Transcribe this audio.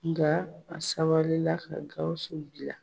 Nka a sabali ka Gawusu bila